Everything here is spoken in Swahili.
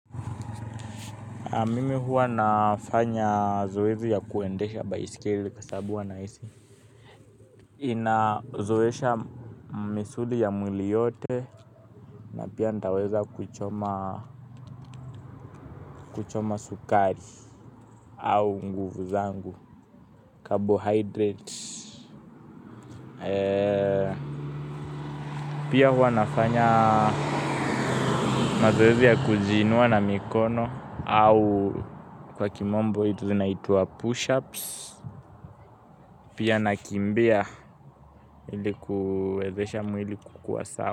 Mimi huwa nafanya zoezi ya kuendesha baiskeli kwa sababu huwa nahisi inazoesha misuli ya mwili yote. Na pia nitaweza kuchoma kuchoma sukari au nguvu zangu carbohydrates. Pia huwa nafanya mazoezi ya kujiinua na mikono au kwa kimombo zinaitwa push-ups. Pia nakimbia ili kuwezesha mwili kukuwa sawa.